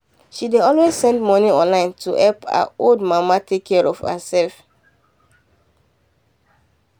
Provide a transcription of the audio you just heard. she dey always send money online to help her old mama take care of herself.